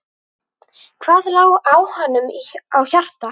Hvað lá honum á hjarta?